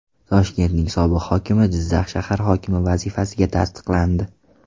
Toshkentning sobiq hokimi Jizzax shahar hokimi vazifasiga tasdiqlandi.